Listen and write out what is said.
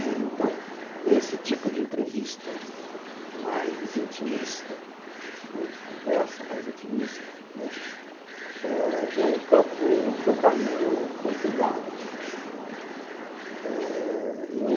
Então, esse tipo de entrevista mais intimista, de conversa mais intimista, é um campo que eu caminho com cuidado.